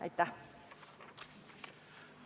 Aitäh!